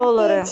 доллары